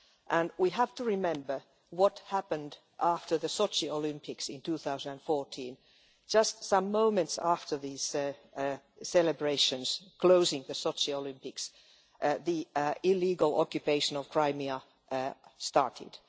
And we have to remember what happened after the Sochi Olympics in 2014 just some moments after these celebrations closing the Sochi Olympics, the illegal occupation of Crimea started.